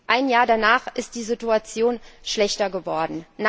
Ein Jahr danach ist die Situation schlechter geworden.